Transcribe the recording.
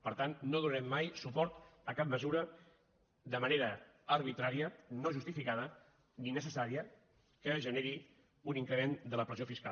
per tant no donarem mai suport a cap mesura de manera arbitrària no justificada ni necessària que generi un increment de la pressió fiscal